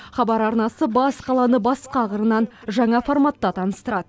хабар арнасы бас қаланы басқа қырынан жаңа форматта таныстырады